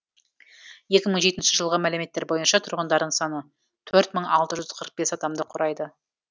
екі мың жетінші жылғы мәліметтер бойынша тұрғындарының саны төрт мың алты жүз қырық бес адамды құрайды